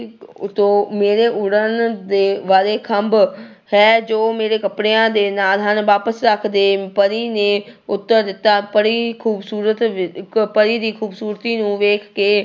ਤੋਂ ਮੇਰੇ ਉੱਡਣ ਦੇ ਵਾਲੇ ਖੰਭ ਹੈ ਜੋ ਮੇਰੇ ਕੱਪੜਿਆਂ ਦੇ ਨਾਲ ਹਨ, ਵਾਪਸ ਰੱਖ ਦੇ ਪਰੀ ਨੇ ਉੱਤਰ ਦਿੱਤਾ, ਪਰੀ ਖੂਬਸੂਰਤ ਇੱਕ ਪਰੀ ਦੀ ਖੂਬਸੂਰਤੀ ਨੂੰ ਵੇਖ ਕੇ